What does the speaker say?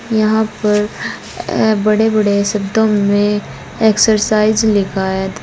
यहां पर बड़े बड़े शब्दों में एक्सरसाइज लिखा है।